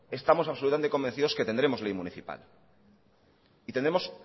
estamos absolutamente convencidos que tendremos ley municipal y tendremos